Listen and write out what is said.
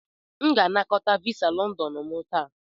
M ga-anakọta visa London m taa.